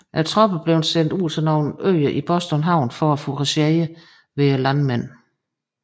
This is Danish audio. Tropperne blev sendt ud til nogle øer i Boston havn for at fouragere hos landmændene